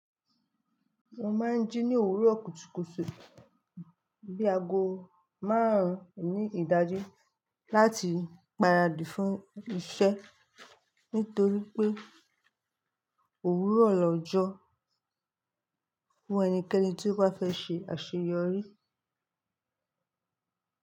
Mo máa ń jí ní òwúrọ̀ kùtùkùtù bí aago márùn-ún ní ìdájí láti ń paradì fún iṣẹ́ nítorí pé òwúrọ̀ lọ́jọ́ fún ẹnikẹ́ni tí ó bá fẹ́ ṣe àṣeyọrí.